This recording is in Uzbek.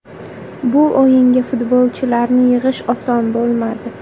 Bu o‘yinga futbolchilarni yig‘ish oson bo‘lmadi.